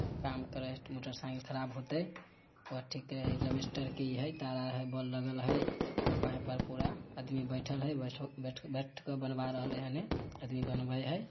काम करे हेय मोटरसाइकिल खराब होते ताला हेय बोल लगल हेय पाइप आर पूरा आदमी बैठएल हेय ---